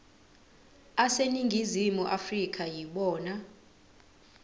aseningizimu afrika yibona